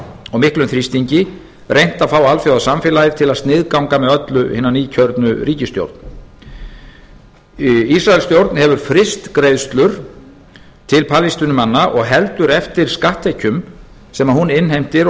og miklum þrýstingi reynt að fá alþjóðasamfélagið til að sniðganga með öllu hina nýkjörnu ríikisstjórn ísraelsstjórn hefur fryst greiðslur til palestínumanna og heldur eftir skatttekjum sem hún innheimtir og